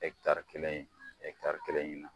kelen in, kelen ɲini na.